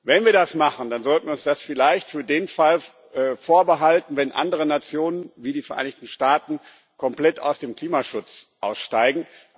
Wenn wir das machen, dann sollten wir uns das vielleicht für den Fall vorbehalten, dass andere Nationen, wie die Vereinigten Staaten, komplett aus dem Klimaschutz aussteigen.